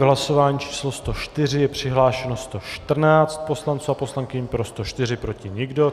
V hlasování číslo 104 je přihlášeno 114 poslanců a poslankyň, pro 104, proti nikdo.